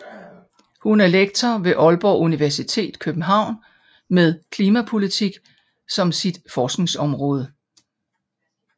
Hun er lektor ved Aalborg Universitet København med klimapolitik som sit forskningsområde